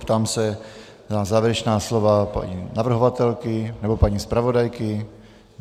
Ptám se na závěrečná slova paní navrhovatelky nebo paní zpravodajky.